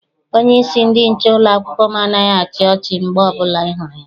Onyeisi ndị nche ụlọakwụkwọ m anaghị achị ọchi mgbe ọbụla I hụrụ ya.